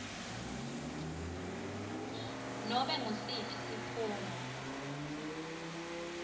nobe ngusiphi sikhungo